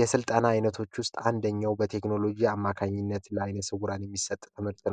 የስልጠና አይነቶች ውስጥ አንደኛው በቴክኖሎጂ አማካኝነት ለዓይነ ስውራን የሚሰጥ ትምህርት ነው።